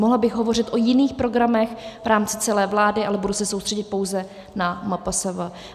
Mohla bych hovořit o jiných programech v rámci celé vlády, ale budu se soustředit pouze na MPSV.